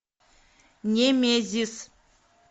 немезис